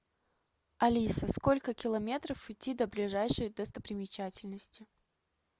алиса сколько километров идти до ближайшей достопримечательности